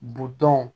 Bidenw